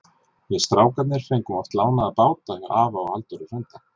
Við strákarnir fengum oft lánaða báta hjá afa og Halldóri frænda.